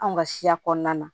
Anw ka siya kɔnɔna na